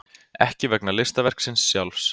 Ekki vegna listaverksins sjálfs.